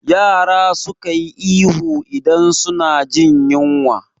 Yara suka yi ihu idan suna jin yinwa